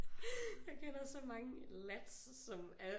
Jeg kender så mange lads som er